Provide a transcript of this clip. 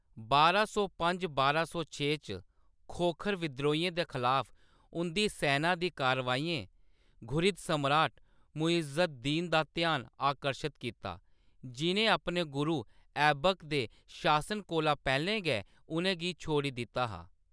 बारां सौ पंज- बारां सौ छे च खोखर विद्रोहियें दे खलाफ उंʼदी सैना दी कारवाइयें घुरिद सम्राट मुइज़ अद-दीन दा ध्यान आकर्शत कीता, जि'नें अपने गुरु ऐबक दे शासन कोला पैह्‌‌‌लें गै उʼनें गी छोड़ी दित्ता हा।